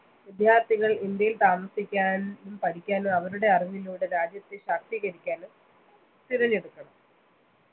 വിദ്യാർത്ഥികൾ ഇന്ത്യയിൽ താമസിക്കാൻ പഠിക്കാനും അവരുടെ അറിവിലൂടെ രാജ്യത്തെ ശാസ്ത്രീകരിക്കാനും തിരഞ്ഞെടുക്കണം